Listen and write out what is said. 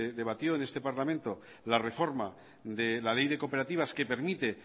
debatió en este parlamento la reforma de la ley de cooperativas que permite